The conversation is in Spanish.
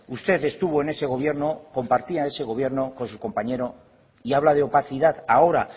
usted estuvo en ese gobierno compartía ese gobierno con su compañero y habla de opacidad ahora